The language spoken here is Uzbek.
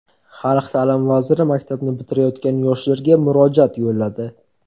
Xalq ta’limi vaziri maktabni bitirayotgan yoshlarga murojaat yo‘lladi.